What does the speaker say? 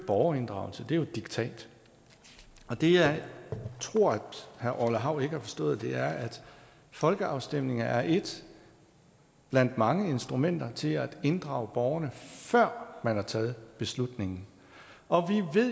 borgerinddragelse det er diktat og det jeg tror herre orla hav ikke har forstået er at folkeafstemninger er et blandt mange instrumenter til at inddrage borgerne før man tager beslutningen og